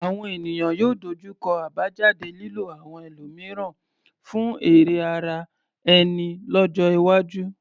Àwọn ènìyàn yóò dojú kọ àbájáde lílo àwọn ẹlòmíràn fún èrè ara ẹni lọ́jọ́ iwájú.